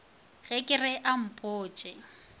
ge ke re a mpotše